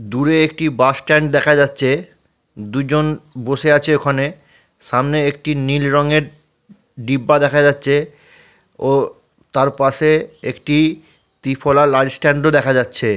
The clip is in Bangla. দূরে একটি বাস স্ট্যান্ড দেখা যাচ্ছে দুজন বসে আছে ওখানে সামনে একটি নীল রঙের ডিব্বা দেখা যাচ্ছে ও তার পাশে একটি ত্রিফলা লাইট স্ট্যান্ড ও দেখা যাচ্ছে।